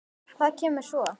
Hvað kemur svo?